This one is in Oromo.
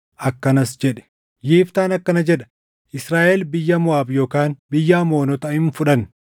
akkanas jedhe: “Yiftaan akkana jedha: Israaʼel biyya Moʼaab yookaan biyya Amoonota hin fudhanne.